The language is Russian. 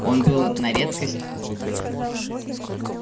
он был на редкость уродлив